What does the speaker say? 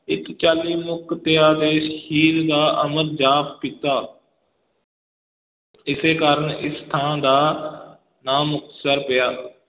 ਇੱਥੇ ਚਾਲੀ ਮੁਕਤਿਆਂ ਨੇ ਸ਼ਹੀਦ ਦਾ ਅਮਰ ਜਾਮ ਪੀਤਾ ਇਸੇ ਕਾਰਨ ਇਸ ਥਾਂ ਦਾ ਨਾਂ ਮੁਕਤਸਰ ਪਿਆ।